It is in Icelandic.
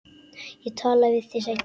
Ég tala við þig seinna.